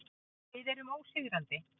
Við erum ósigrandi.